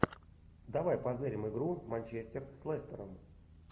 давай позырим игру манчестер с лестером